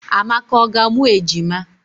Amaka ọ ga amụ ejima?